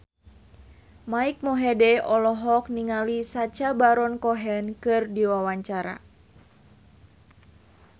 Mike Mohede olohok ningali Sacha Baron Cohen keur diwawancara